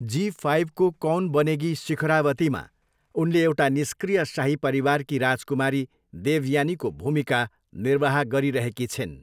जी फाइबको कौन बनेगी शिखरावतीमा उनले एउटा निष्क्रिय शाही परिवारकी राजकुमारी देवयानीको भूमिका निर्वाह गरिरहेकी छिन्।